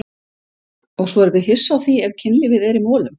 Og svo erum við hissa á því ef kynlífið er í molum!